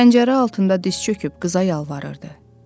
Pəncərə altında diz çöküb qıza yalvarırdı.